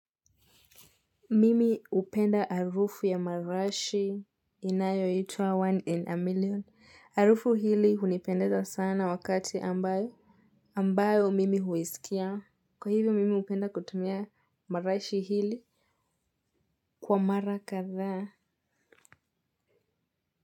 Mimi hupenda harufu ya marashi inayo itwa one in a million, harufu hili hunipendeza sana wakati ambae. Ambayo mimi huisikia, kwa hivyo mimi hupenda kutumia marashi hili kwa mara kadhaa.